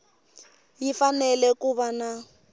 yi fanele ku va na